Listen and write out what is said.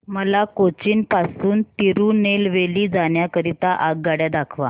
मला कोचीन पासून तिरूनेलवेली जाण्या करीता आगगाड्या दाखवा